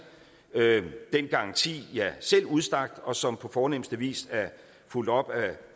den garanti jeg selv udstak og som på fornemste vis er fulgt op af